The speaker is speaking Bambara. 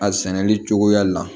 A sɛnɛli cogoya la